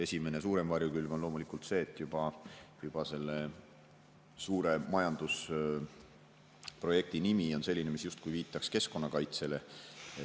Esimene suurem varjukülg on loomulikult see, et juba selle suure majandusprojekti nimi on selline, mis justkui viitaks keskkonnakaitsele.